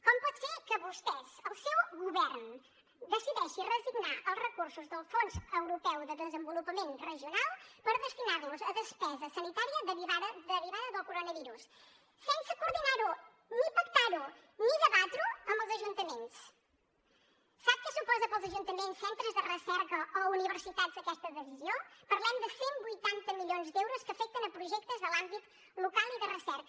com pot ser que vostès el seu govern decideixi reassignar els recursos del fons europeu de desenvolupament regional per destinar los a despesa sanitària derivada del coronavirus sense coordinar ho ni pactar ho ni debatre ho amb els ajuntaments sap què suposa per als ajuntaments centres de recerca o universitats aquesta decisió parlem de cent i vuitanta milions d’euros que afecten a projectes de l’àmbit local i de recerca